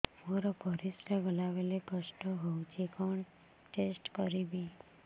ମୋର ପରିସ୍ରା ଗଲାବେଳେ କଷ୍ଟ ହଉଚି କଣ ଟେଷ୍ଟ କରିବି